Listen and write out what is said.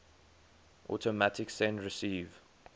automatic send receive